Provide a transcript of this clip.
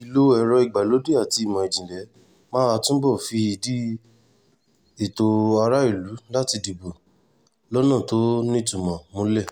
ìlò ẹ̀rọ ìgbàlódé àti ìmọ̀ ìjìnlẹ̀ máa túbọ̀ fìdí ètò aráàlú láti dìbò lọ́nà tó nítumọ̀ múlẹ̀